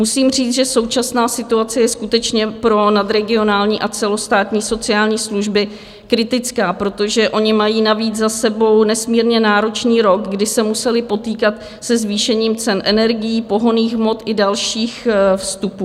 Musím říct, že současná situace je skutečně pro nadregionální a celostátní sociální služby kritická, protože ony mají navíc za sebou nesmírně náročný rok, kdy se musely potýkat se zvýšením cen energií, pohonných hmot i dalších vstupů.